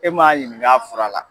E ma ɲining'a fura la